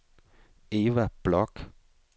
Eva Bloch